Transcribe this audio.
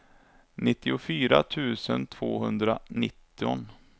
nittiofyra tusen tvåhundranitton